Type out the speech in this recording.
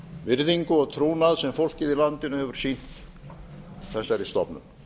virðingu og trúnað sem fólkið í landinu hefur sýnt þessari stofnun